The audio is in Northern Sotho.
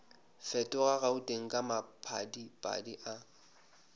fetoga gauteng ka maphadiphadi a